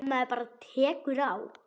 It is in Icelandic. Ef maður bara tekur á.